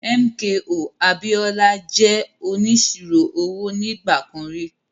MKO Abiola jẹ́ onísirò owó nígbà kan rí.